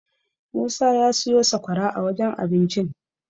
Musa ya siyo sakwara a wajen abincin.